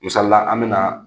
Misalila an mina